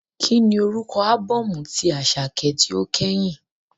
Kíni orúkọ ábọ́ọ̀mù tí Àṣàkẹ́ tí ó kẹ́yìn?